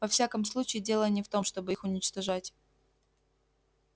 во всяком случае дело не в том чтобы их уничтожать